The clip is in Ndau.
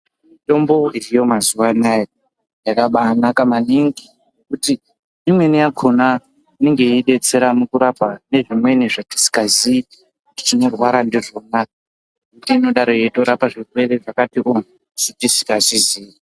Mitombo iriyo mazuwanaya yakabanaka maningi kuti imweni yakona inenge yeidetsera mukurapa nezvimweni zvetisingaziyi kuti tinorwara ndizvona. Ngekuti inodaro yeitorapa zvirwere zvakati wo zvetisingatoziyi.